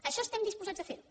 això estem disposats a fer ho